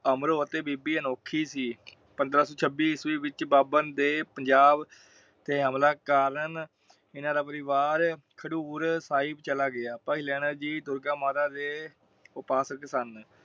ਅਮਰੋ ਅਤੇ ਬੀਬੀ ਅਨੋਖੀ ਸੀ। ਪੰਦਰਾਂ ਸੋ ਛਬੀ ਈਸਵੀ ਵਿਚ ਬਾਬਰ ਦੇ ਪੰਜਾਬ ਤੇ ਹਮਲਾ ਕਾਲਨ ਇਹਨਾਂ ਦਾ ਪਰਿਵਾਰ ਖੱਡੂਰ ਸਾਹਿਬ ਚਲਾ ਗਿਆ। ਭਾਈ ਲਹਿਣਾ ਜੀ ਦੁਰਗਾ ਮਾਤਾ ਦੇ ਉਪਾਸਕ ਸਨ।